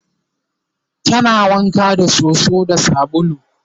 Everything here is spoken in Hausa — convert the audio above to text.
tana wanka da soso da sabulu